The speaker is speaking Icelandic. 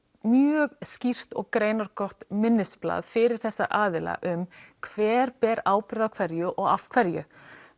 mjög skýrt og greinargott minnisblað fyrir þessa aðila um hver ber ábyrgð á hverju og af hverju